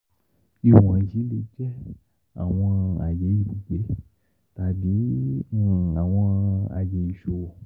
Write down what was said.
Iwọnyi le jẹ awọn aye ibugbe tabi awọn aye iṣowo.